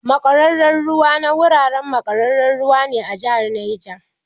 Makwararar ruwa na gurara makwararar ruwa ne a jihar Neja